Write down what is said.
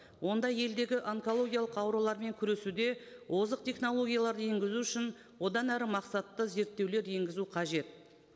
онда елдегі онкологиялық аурулармен күресуде озық технологияларды енгізу үшін одан әрі мақсатты зерттеулер енгізу қажет